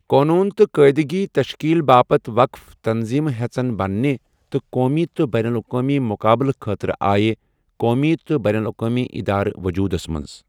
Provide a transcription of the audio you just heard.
قونوٗن تہٕ قٲیِدٕگی تَشکیٖل باپت وَقٕف تَنظیٖمہٕ ہیژن بننہِ ، تہٕ قومی تہٕ بینُ الاقوٲمی مُقابٕلہٕ خٲطرٕ آیہٕ قومی تہٕ بینُ الاقوامی اِدارٕ وجوٗدَس مَنٛز۔